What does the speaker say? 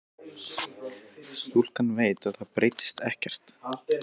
Stúlkan veit að það breytist ekkert.